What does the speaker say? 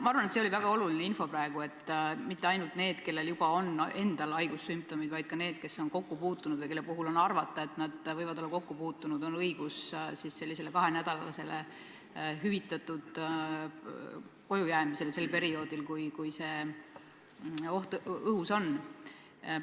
Ma arvan, et see on väga oluline, et mitte ainult neil, kellel on endal haigussümptomid, vaid ka neil, kes on haigetega kokku puutunud või kelle puhul on arvata, et nad võivad olla nendega kokku puutunud, on õigus kahenädalasele hüvitatud koju jäämisele perioodil, kui see oht õhus on.